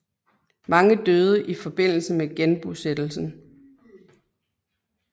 Mange døde i forbindelse med genbosættelsen